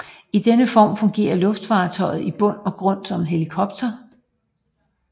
I denne form fungerer luftfartøjet i bund og grund som en helikopter